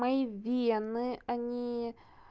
мои вены они